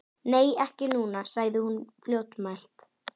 Nei, ekki núna, sagði hún fljótmælt.